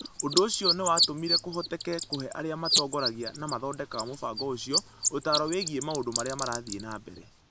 Ũndũ ũcio nĩ watũmire kũhoteke kũhe arĩa matongoragia na mathondekaga mũbango ũcio ũtaaro wĩgiĩ maũndũ marĩa marathiĩ na mbere.